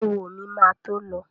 Éwo mi ma tó lọ